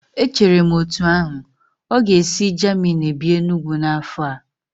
Echere m etu ahu, ọ ga-esi Jamini bịa Enugwu n'afọ a